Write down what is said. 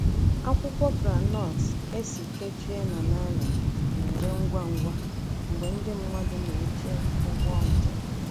Akwụkwọ groundnut esi kechie na nylon na-ere ngwa ngwa mgbe ndị mmadụ na-eche ụgbọ njem.